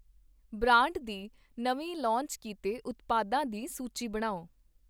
Brand ਦੇ ਨਵੇਂ launch ਕੀਤੇ ਉਤਪਾਦਾਂ ਦੀ ਸੂਚੀ ਬਣਾਓ?